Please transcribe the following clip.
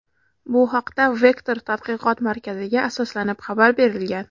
Bu haqda "Vektor" tadqiqot markaziga asoslanib xabar berilgan.